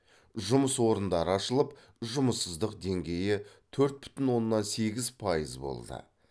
жұмыс орындары ашылып жұмыссыздық деңгейі төрт бүтін оннан сегіз пайыз болды